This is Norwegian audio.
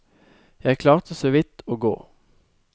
Jeg klarte så vidt å gå.